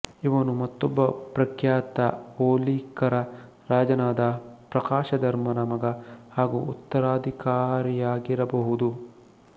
ಇವನು ಮತ್ತೊಬ್ಬ ಪ್ರಖ್ಯಾತ ಔಲೀಕರ ರಾಜನಾದ ಪ್ರಕಾಶಧರ್ಮನ ಮಗ ಹಾಗೂ ಉತ್ತರಾಧಿಕಾರಿಯಾಗಿರಬಹುದು